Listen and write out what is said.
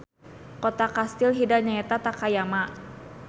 Kota kastil Hida nyaeta Takayama.